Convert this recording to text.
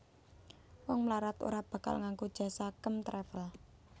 Wong mlarat ora bakal nganggo jasa Kem Travel